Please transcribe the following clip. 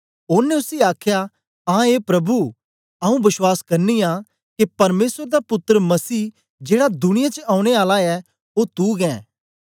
ओनें उसी आखया आं ए प्रभु आऊँ बश्वास करनी आं के परमेसर दा पुत्तर मसीह जेड़ा दुनिया च औने आला ऐ ओ तू गै ऐं